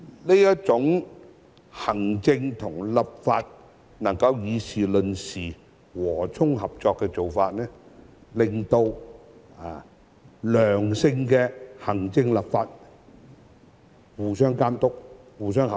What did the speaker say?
這種行政與立法能夠議事論事、和衷合作的做法，令到行政立法互相監督、合作。